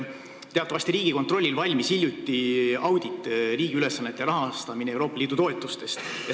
Teatavasti Riigikontrollil valmis hiljuti audit "Riigi ülesannete rahastamine Euroopa Liidu toetustest".